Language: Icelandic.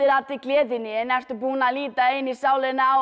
allri gleðinni en ertu búinn að líta inn í sálina á